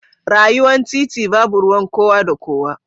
Rayuwa titi babu ruwan kowa da kowa.